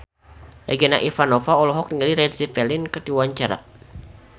Regina Ivanova olohok ningali Led Zeppelin keur diwawancara